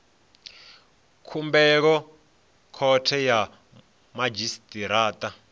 khumbelo khothe ya madzhisi ṱira